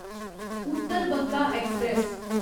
Uttar Banga express